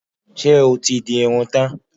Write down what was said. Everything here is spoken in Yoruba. Ṣé o ti di irun tán?